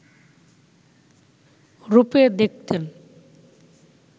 রূপে দেখতেন